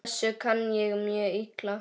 Þessu kann ég mjög illa.